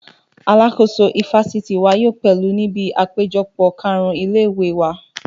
Alàkóso ifásitì wa yóò péjú níbi àpéjọpọ̀ kàrún ilé-ìwé wa